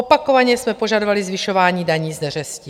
Opakovaně jsme požadovali zvyšování daní z neřestí.